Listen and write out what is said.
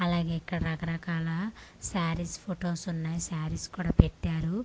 అలాగే ఇక్కడ రకరకాల శారీస్ ఫొటోస్ ఉన్నాయ్ శారీస్ కూడా పెట్టారు.